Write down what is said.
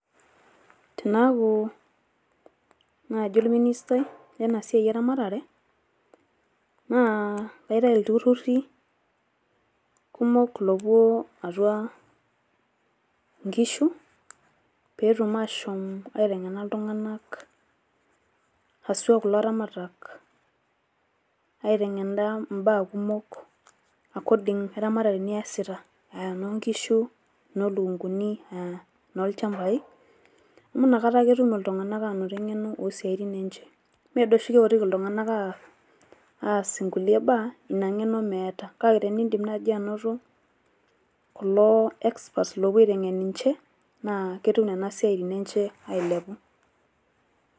Tenaaku naaji ol minister ai lena siai eramatare , naa kaitayu ilturruri kumok loopuo atua nkishu pee etum aashoom aiteng`ena iltung`anak haswa kulo aramatak. Aiteng`ena imbaa kumok according e ramatare niasita, aa enoo nkishu, enoo lukunguni , enoo ilchambai amu inakata ake etum iltung`anak anoto eng`eno oo siaitin enye. Mme doi oshi keotiki iltung`anak aas nkulie baa ina ng`eno meeta. Kake tenidim naaji anoto kulo experts oopuo aiteng`en ninche naa ketum nena siaitin enye ailepu.